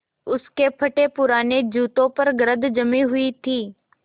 उसके फटेपुराने जूतों पर गर्द जमी हुई थी